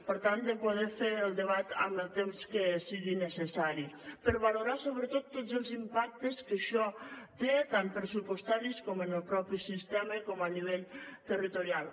per tant de poder fer el debat amb el temps que sigui necessari per valorar sobretot tots els impactes que això té tant pressupostaris com en el mateix sistema com a nivell territorial